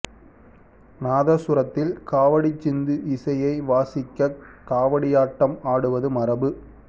நாதசுரத்தில் காவடிச் சிந்து இசையை வாசிக்கக் காவடியாட்டம் ஆடுவது மரபு